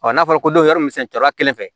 n'a fɔra ko yɔrɔ min cɔrɔ kelen fɛ